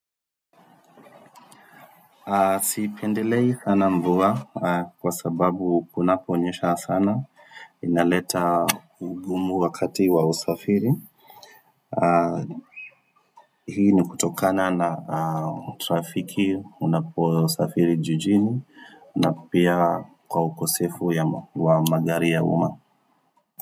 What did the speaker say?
Siipendelei sana mvua kwa sababu kunaponyesha sana inaleta ugumu wakati wa usafiri. Hii ni kutokana na trafiki unapo safiri jijini na pia kwa ukosefu wa magari ya umma.